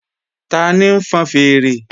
Tani ń fọn fèèrè?